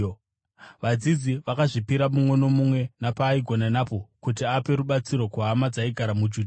Vadzidzi vakazvipira, mumwe nomumwe napaaigona napo, kuti ape rubatsiro kuhama dzaigara muJudhea.